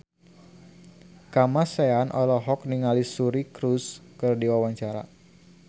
Kamasean olohok ningali Suri Cruise keur diwawancara